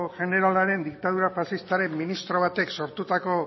jeneralaren diktadura faxistaren ministro batek sortutako